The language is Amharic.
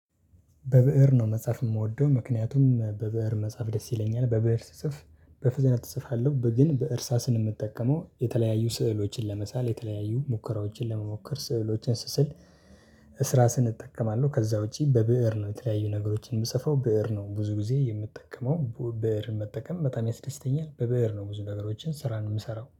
በብእር ነው መጽሐፍ የምወደው ምክንያቱም በብእር መጽሐፍ ደስ ይለኛል። በብእር ስጽፍ በፍጥነት እጽፋለሁ ግን በእርሳስ የምጠቀመው የተለያዩ ስዕሎችን ለመሳል የተለያዩ ሙከራዎችን ለመሞከር ስዕሎችን ስስል። ስራ ስንጠቀም አለው። ከዛ ውጪ በብእር ነው የተለያዩ ነገሮችን የምጽፈው ብእር ነው ብዙ ጊዜ የምጠቀመው ብእር መጠቀም በጣም ያስደስተኛል። በበእር ነው ብዙ ነገሮችን ስራ የምሰራው